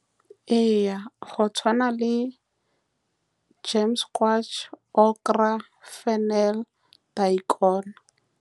Ee go tshwana le gems squash, Okra, Fennel, Daikon.